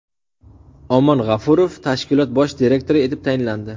Omon G‘ofurov tashkilot bosh direktori etib tayinlandi.